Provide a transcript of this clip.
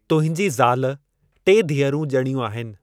तुंहिंजी ज़ाल टे धीअरूं ज॒णियूं आहिनि।